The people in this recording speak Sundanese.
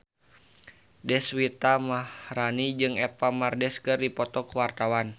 Deswita Maharani jeung Eva Mendes keur dipoto ku wartawan